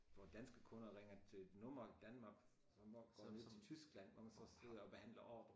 Hvor danske kunder ringer til et nummer i Danmark som går til Tyskland hvor man så sidder og behandler ordrer